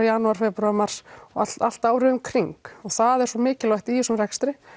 janúar febrúar mars og allt árið um kring og það er svo mikilvægt í þessum rekstri